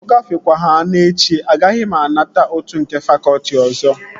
Ọ gafekwehana echi, agaghị m anata ụtụ nke fakọtị ọzọ